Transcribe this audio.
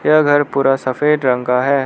यह घर पूरा सफेद रंग का है।